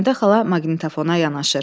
Həmidə xala maqnitafona yanaşır.